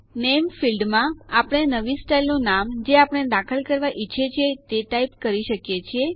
નામે ફીલ્ડ ક્ષેત્રમાં આપણે નવી સ્ટાઈલનું નામ જે આપણે દાખલ કરવા ઈચ્છીએ છીએ તે ટાઈપ કરી શકીએ છીએ